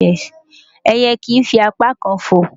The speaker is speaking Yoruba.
Ẹyẹ kìí fi apá kan fò.